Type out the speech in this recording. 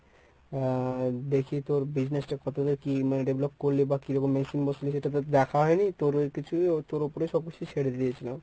আহ দেখি তোর business টা কতদুর কী মানে develop করল বা কী রকম machine বসল সেটা তো দেখা হয়নি তোর কিছুই তোর উপরে সবকিছু ছেড়ে দিয়েছিলাম।